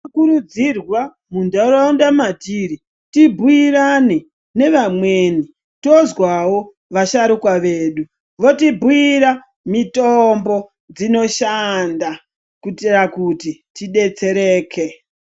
Tinokurudzirwa mundaraunda matiri, tibhuirane nevamweni tozwawo vasharukwa vedu votibhuira mitombo dzinoshanda kuitira kuti tidetsereke.